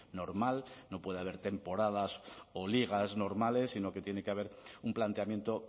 normal no puede haber temporadas o ligas normales sino que tiene que haber un planteamiento